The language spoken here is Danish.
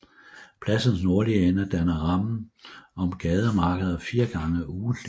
Pladsens nordlige ende danner rammen om gademarkeder fire gange ugentligt